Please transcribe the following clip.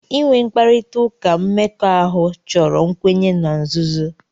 Inwe mkparịta ụka mmekọahụ chọrọ nkwenye na nzuzo.